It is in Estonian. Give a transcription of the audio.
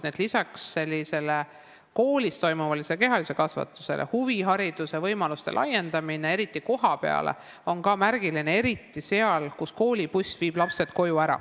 Nii et lisaks koolis toimuvale kehalisele kasvatusele on huvihariduse võimaluste laiendamine just kohapeal ka märgiline, eriti seal, kus koolibuss viib lapsed koju.